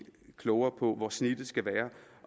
klogere på hvor snittet skal være